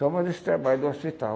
Só mais esse trabalho do hospital.